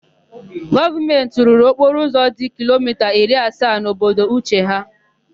Gọọmentị rụrụ okporoụzọ dị kilomita iri asaa n'obodo Uche ha.